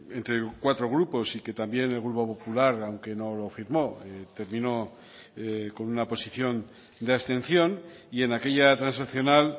entre cuatro grupos y que también el grupo popular aunque no lo firmo terminó con una posición de abstención y en aquella transaccional